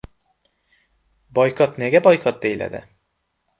Boykot nega boykot deyiladi?